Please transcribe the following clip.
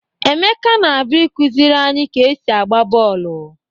Emeka na-abịa ịkụziri anyị ka e si agba bọọlụ.